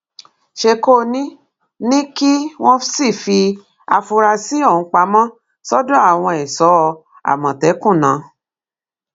ṣèkónì ni kí wọn sì fi àfúrásì ọhún pamọ sọdọ àwọn èso àmọtẹkùn ná